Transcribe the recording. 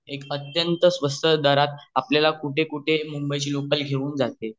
एक अत्यंत स्वस्त दारात आपल्याला कुठ कुठ मुंबई ची लोकल घेऊन जाते